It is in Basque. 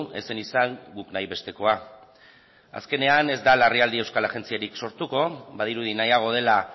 ez zen izan guk nahi bestekoa azkenean ez da larrialdi euskal agentziarik sortuko badirudi nahiago dela